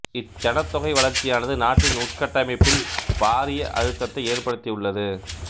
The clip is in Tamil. இச் சனத்தொகை வளர்ச்சியானது நாட்டின் உட்கட்டமைப்பில் பாரிய அழுத்தத்தை ஏற்படுத்தியுள்ளது